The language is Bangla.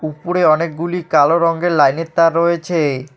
উপরে অনেকগুলি কালো রঙ্গের লাইন -এর তার রয়েছে।